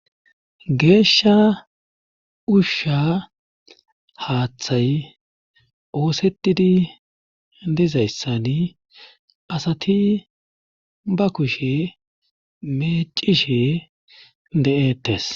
geeshsha ushsha haaththay oosetidi dizayssani asati ba kushe meecishe de7ettes